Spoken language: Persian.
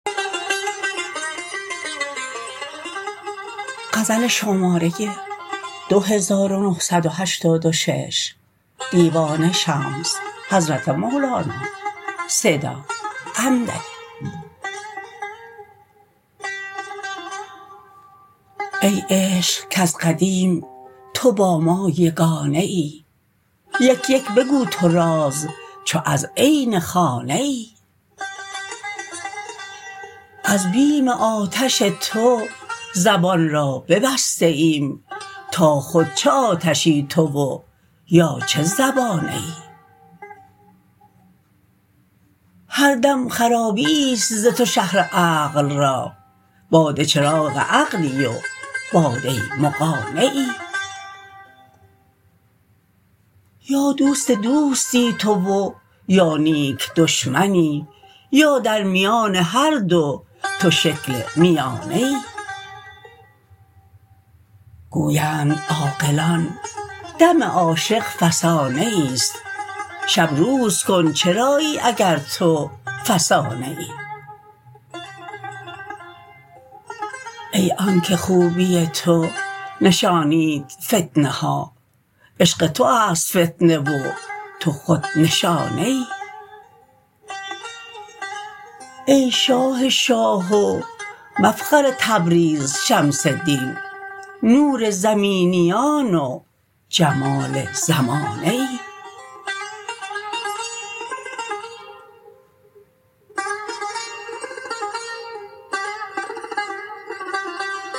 ای عشق کز قدیم تو با ما یگانه ای یک یک بگو تو راز چو از عین خانه ای از بیم آتش تو زبان را ببسته ایم تا خود چه آتشی تو و یا چه زبانه ای هر دم خرابیی است ز تو شهر عقل را باد چراغ عقلی و باده مغانه ای یا دوست دوستی تو و یا نیک دشمنی یا در میان هر دو تو شکل میانه ای گویند عاقلان دم عاشق فسانه ای است شب روز کن چرایی اگر تو فسانه ای ای آنک خوبی تو نشانید فتنه ها عشق تو است فتنه و تو خود نشانه ای ای شاه شاه و مفخر تبریز شمس دین نور زمینیان و جمال زمانه ای